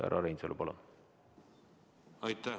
Härra Reinsalu, palun!